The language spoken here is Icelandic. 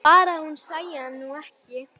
Bara að hún sæi hann nú ekki!